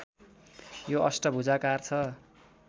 यो अष्टभुजाकार छ